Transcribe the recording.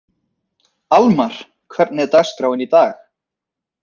Almar, hvernig er dagskráin í dag?